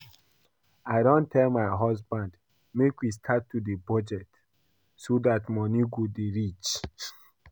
I don tell my husband make we start to dey budget so dat money go dey reach